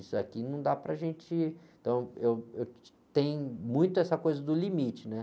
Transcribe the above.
Isso aqui não dá para a gente... Então, eu, eu, tem muito essa coisa do limite, né?